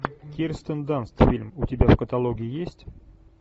кирстен данст фильм у тебя в каталоге есть